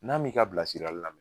N'a m'i ka bilasirali lamɛn